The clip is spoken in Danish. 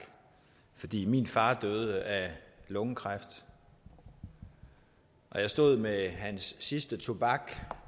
fordi min far døde af lungekræft og jeg stod med hans sidste tobak